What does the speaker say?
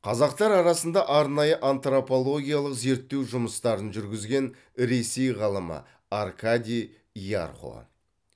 қазақтар арасында арнайы антропологиялық зерттеу жұмыстарын жүргізген ресей ғалымы аркадий ярхо